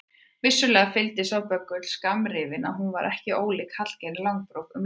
Vissulega fylgdi sá böggull skammrifi að hún var ekki ólík Hallgerði Langbrók um lundarfar.